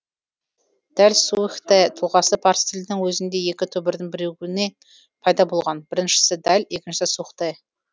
дэлсухтэ тұлғасы парсы тілінің өзінде екі түбірдің бірігуінен пайда болған біріншісі дэл екіншісі сухтэ